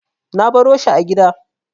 Na baro shi a gida.